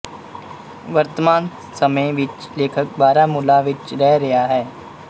ਵਰਤਮਾਨ ਸਮੇਂ ਵਿੱਚ ਲੇਖਕ ਬਾਰਾਮੂਲਾ ਵਿੱਚ ਰਹਿ ਰਿਹਾ ਹੈ